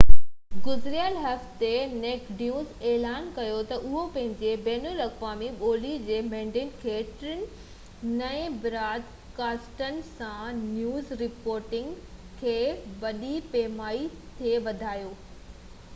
گذريل هفتي Naked News اعلان ڪيو تہ اهو پنهنجي بين الاقوامي ٻولي جي مينڊيٽ کي ٽن نئين براد ڪاسٽن سان نيوز رپورٽنگ کي وڏي پئماني تي وڌائيندو